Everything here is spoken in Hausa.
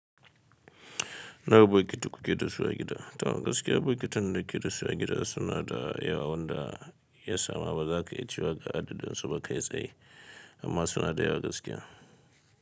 Nawa botiki kuke dasu a gida. To gaskiya bukitin da nake dasu a gida suna da yawa wanda ya samu bazaka iya cewa ga adadin su ba kai tsaye amma suna da yawa gaskiya.